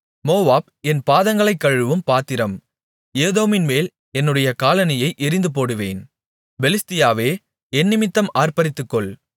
Moab என் பாதங்களைக் கழுவும் பாத்திரம் ஏதோமின்மேல் என்னுடைய காலணியை எறிந்துபோடுவேன் பெலிஸ்தியாவே என்னிமித்தம் ஆர்ப்பரித்துக்கொள்